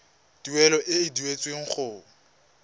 tuelo e e duetsweng go